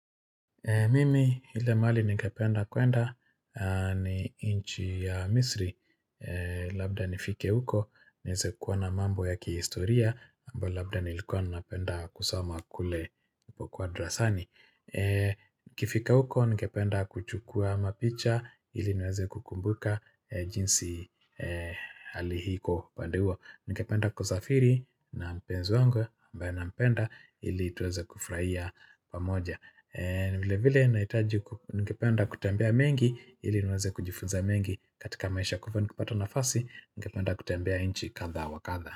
Mimi ile mahali ningependa kuenda ni nchi ya misri Labda nifike uko, niweze kuona mambo ya kihistoria ambayo labda nilikuwa napenda kusama kule nilipokuwa drasani nikifika huko, ningependa kuchukua mapicha ili niweze kukumbuka jinsi hali iko upande huo Ningependa kusafiri na mpenzi wangu ambaye nampenda, ili tuweze kufurahia pamoja vile vile nahitaji ningependa kutembia mengi ili niweze kujifunza mengi katika maisha kwa hivyo nikipata nafasi ningependa kutembia nchi kadha wa kadha.